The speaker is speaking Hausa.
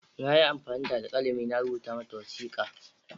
Na yi amfani da alkalami na rubuta mata wasiƙa.